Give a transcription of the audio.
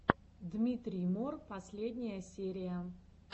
дмитрий мор последняя серия